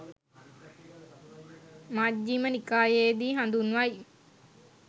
මජ්ක්‍ධිම නිකායේ දී හඳුන්වයි